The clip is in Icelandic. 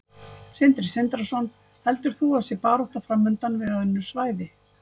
Sindri Sindrason: Heldur þú að það sé barátta framundan við önnur svæði?